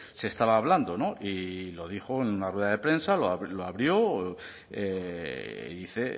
se estaba hablando no y lo dijo en una rueda de prensa lo abrió y dice